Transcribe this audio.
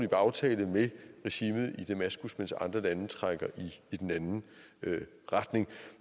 aftale med regimet i damaskus mens andre lande trækker i den anden retning